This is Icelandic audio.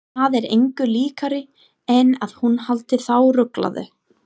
Það er engu líkara en að hún haldi þá ruglaða.